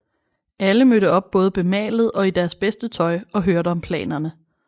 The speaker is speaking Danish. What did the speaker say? Alle mødte op både bemalet og i deres bedste tøj og hørte om planerne